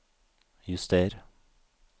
juster